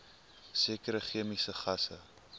sekere chemiese gasse